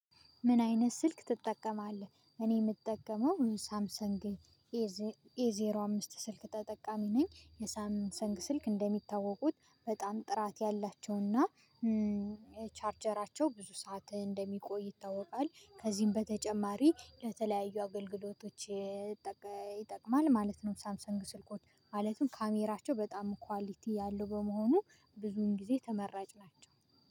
ምን አይነት ስልክ ትጠቀማለህ? እኔ የምጠቀመው ሳምሰን ግን ኤዜሮ አምስት ስልክ ተጠቃሚ ነኝ። የሳም ሰንግ ስልክ እንደሚታወቁት በጣም ጥራት ያላቸውና ቻርጀራቸው ብዙ ሰዓት እንደሚቆይ ይታወቃል። ከዚህም በተጨማሪ ለተለያዩ አገልግሎቶች ይጠቅማል ማለት ነው። ሳምሰንግ ስልኮች ማለትም ካሜራቸው በጣም ኳሊቲ ያለው በመሆኑ ብዙን ጊዜ ተመራጭ ናቸው።